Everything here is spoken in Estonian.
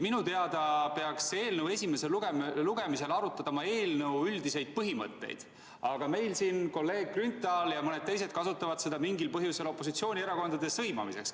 Minu teada peaks eelnõu esimesel lugemisel arutatama eelnõu üldiseid põhimõtteid, aga meil siin kolleeg Grünthal ja mõned teised kasutavad seda mingil põhjusel opositsioonierakondade sõimamiseks.